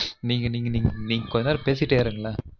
நீங்க நீங்க நீங்க கொஞ்ச நேரம் பேசிட்டே இருங்கலன்